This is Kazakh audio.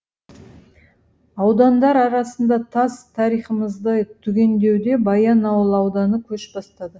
аудандар арасында тас тарихымызды түгендеуде баянауыл ауданы көш бастады